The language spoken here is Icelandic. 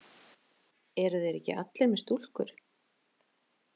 Eru þeir ekki allir með stúlkur?